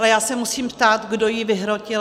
Ale já se musím ptát, kdo ji vyhrotil.